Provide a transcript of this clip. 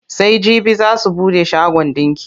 Sai jibi za su buɗe shagon ɗinki.